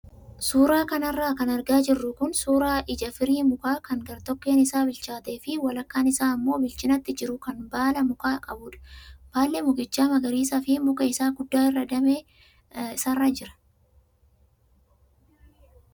Suuraa kanarra kan argaa jirru kun suuraa ija firii mukaa kan gartokkeen isaa bilchaatee fi walakkaan isaa immoo bilchinatti jiru kan baala mukaa qabudha. Baalli mukichaa magariisaa fi muka isa guddaa irraa damee isaarra jira.